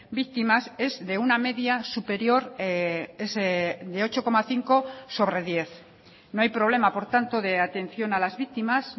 víctimas es de una media superior de ocho coma cinco sobre diez no hay problema por tanto de atención a las víctimas